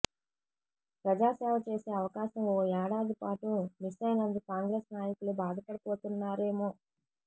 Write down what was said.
ప్రజాసేవ చేసే అవకాశం ఓ ఏడాది పాటు మిస్సయినందుకు కాంగ్రెస్ నాయకులు బాధపడిపోతున్నారేమో